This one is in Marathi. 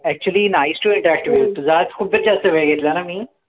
actually nice to interact with you तुझा आज खूपच जास्त वेळ घेतला ना मी